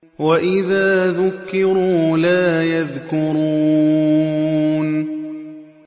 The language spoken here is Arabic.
وَإِذَا ذُكِّرُوا لَا يَذْكُرُونَ